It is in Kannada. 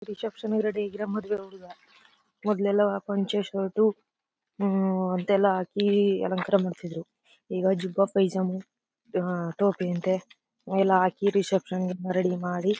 ರಿಸೆಪ್ಶನ್ ರೆಡಿ ಇದ್ರೆ ಮದುವೆ ಹುಡುಗ ಮೊದಲು ಎಲ್ಲ ಪಂಚೆ ಶರ್ಟ್ ಅಂತ ಎಲ್ಲ ಹಾಕಿ ಅಲಂಕಾರ ಮಾಡ್ತಿದ್ರು ಈಗ ಜುಬಾ ಪೈಜಾಮ ಟೋಪಿ ಅಂತೇ ಎಲ್ಲ ಹಾಕಿ ರಿಸೆಪ್ಶನ್ ಗೆ ರೆಡಿ ಮಾಡಿ.